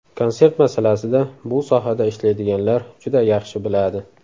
Konsert masalasida, bu sohada ishlaydiganlar juda yaxshi biladi.